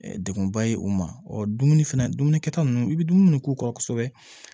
Degunba ye u ma dumuni fɛnɛ dumuni kɛta nunnu i be dumuni k'u kɔrɔ kosɛbɛ